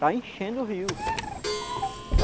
Está enchendo o rio.